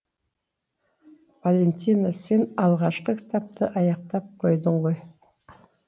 валентина сен алғашқы кітапты аяқтап қойдың ғой